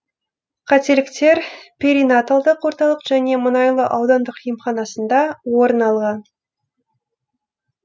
қателіктер перинаталдық орталық және мұнайлы аудандық емханасында орын алған